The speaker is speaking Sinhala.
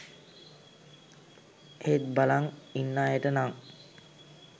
ඒත් බලං ඉන්න අයට නං